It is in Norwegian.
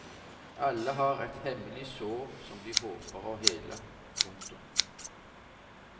Alle har et hemmelig sår som de håper å hele. punktum